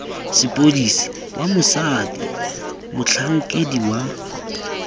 sepodisi wa mosadi motlhankedi wa